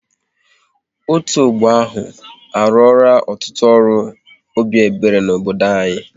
Otu ọgbọ ahụ, a ruora ọtụtụ ọrụ obi ebere n'obodo anyị